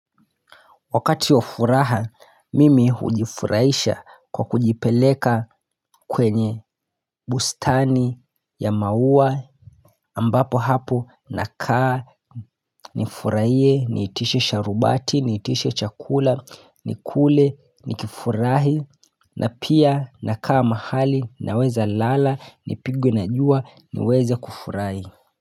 Wakati wa furaha mimi hujifurahisha kwa kujipeleka kwenye bustani ya maua ambapo hapo nakaa nifurahie niitishe sharubati niitishe chakula nikule nikifurahi na pia nakaa mahali naweza lala nipigwe na jua niweze kufurahi.